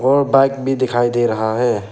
और बाइक भी दिखाई दे रहा है।